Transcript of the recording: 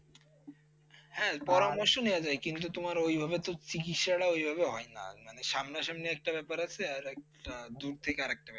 হ্যাঁ পরামর্শ নেওয়া যায়, কিন্তু তোমার ঐ ভাবে তো চিকিত্সাএ ভাবে হয় না। মানে সামনাসামনি একটা ব্যাপার আছে। একটা দূর থেকে আরেকটা ব্যাপার আছে